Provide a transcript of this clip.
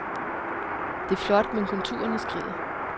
Det er flot, men konturerne skrider.